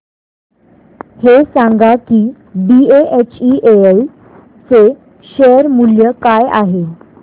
हे सांगा की बीएचईएल चे शेअर मूल्य काय आहे